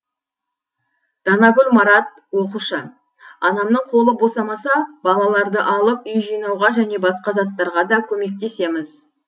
данагүл марат оқушы анамның қолы босамаса балаларды алып үй жинауға және басқа заттарға да көмектесеміз